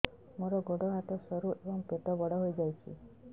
ମୋର ଗୋଡ ହାତ ସରୁ ଏବଂ ପେଟ ବଡ଼ ହୋଇଯାଇଛି